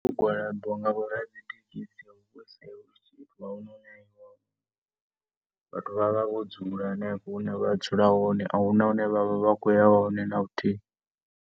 Migwalabo nga vho ra dzi thekhisi hu vha hu si vhathu vha vha vho dzula henefho hune vha dzula hone. A hu na hune vha vha vha khou ya hone na luthihi.